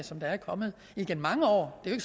som der er kommet igennem mange år det